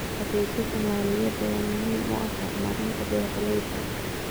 Adeegyada maaliyadeed ayaa muhiim u ah horumarinta beeralayda.